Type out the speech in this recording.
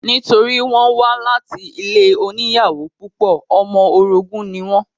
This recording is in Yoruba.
Nítorí wọ́n wá láti ilé oníyàwó púpọ̀, ọmọ orogún ní wọ́n